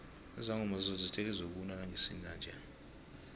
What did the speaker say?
izangoma zezulu zithe lizokuna ngesinanje